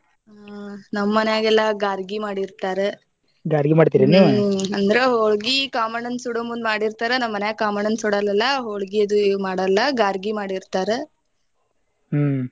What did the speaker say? ಹಾ ನಮ ಮನ್ಯಾಗೆಲ್ಲಾ ಗಾರ್ಗಿ ಮಾಡಿರ್ತಾರ ಅಂದ್ರ ಹೊಳ್ಗಿ ಕಾಮಣ್ಣನ ಸುಡೋ ಮುಂದ ಮಾಡಿರ್ತಾರ ನಮ ಮನ್ಯಾಗೇನ ಕಾಮಣ್ಣನ ಸುಡಲ್ಲಲಾ ಹೊಳ್ಗಿ ಅದು ಏನ ಮಾಡಲ್ಲಾ ಗಾರ್ಗಿ ಮಾಡಿರ್ತಾರ .